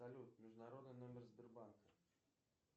салют международный номер сбербанка